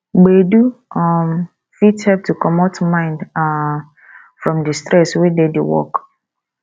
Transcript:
gbedu um fit help to comot mind um from di stress wey dey di work